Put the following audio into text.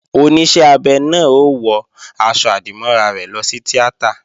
Oníṣẹ́ abẹ náà ó wọ aṣọ-àdìmọ́ra rẹ̀ lọ sí tíátà